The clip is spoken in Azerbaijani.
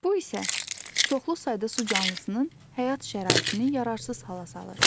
Bu isə çoxlu sayda su canlısının həyat şəraitini yararsız hala salır.